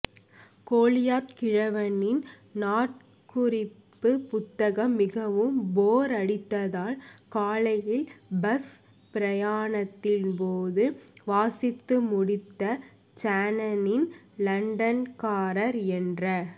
கோலியாத் கிழவனின் நாட்குறிப்பு புத்தகம் மிகவும் போர் அடித்ததால் காலையில் பஸ் பிரயாணத்தின் போது வாசித்துமுடித்த சேனனின் லண்டன்காரர் என்ற